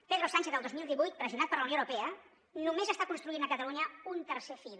pedro sánchez el dos mil divuit pressionat per la unió europea només està construint a catalunya un tercer fil